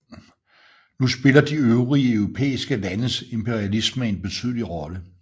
Nu spillede de øvrige europæiske landes imperialisme en betydelig rolle